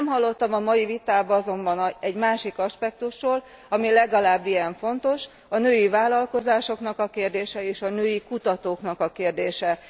Nem hallottam a mai vitában azonban egy másik aspektusról, ami legalább ilyen fontos a női vállalkozásoknak a kérdése, és a női kutatóknak a kérdése.